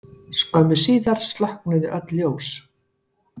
Skömmu síðar slokknuðu öll ljós.